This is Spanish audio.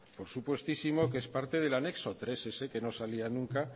por supuestísimo que es parte del anexo tres ese que no salía nunca